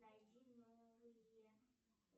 найди новые